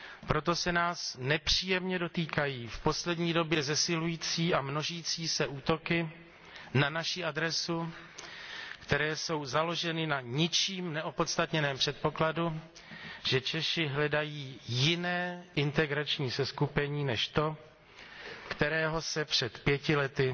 Proto se nás nepříjemně dotýkají v poslední době zesilující a množící se útoky na naši adresu, které jsou založeny na ničím neopodstatněném předpokladu, že Češi hledají jiné integrační seskupení než to, kterého se před pěti lety